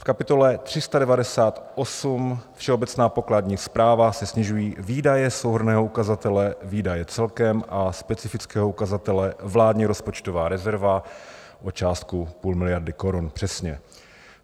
V kapitole 398 Všeobecná pokladní správa se snižují výdaje souhrnného ukazatele výdaje celkem a specifického ukazatele vládní rozpočtová rezerva o částku půl miliardy korun přesně.